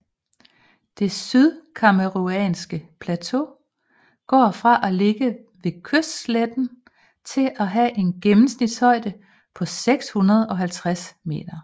Det sydcamerounske plateau går fra at ligge ved kystsletten til at have en gennemsnitlig højde på 650 meter